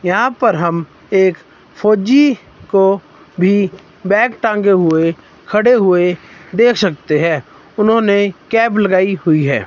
यहां पर हम एक फौजी को भी बैग टांगे हुए खड़े हुए देख सकते हैं उन्होंने कैप लगाई हुई है।